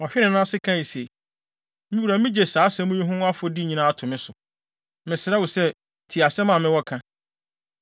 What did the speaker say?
Ɔhwee ne nan ase kae se, “Me wura migye saa asɛm yi ho afɔdi nyinaa to me ho so. Mesrɛ wo sɛ, tie asɛm a mewɔ ka.